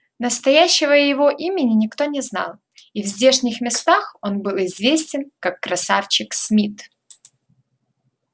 настоящего его имени никто не знал и в здешних местах он был известен как красавчик смит